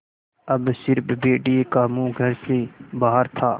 अब स़िर्फ भेड़िए का मुँह घर से बाहर था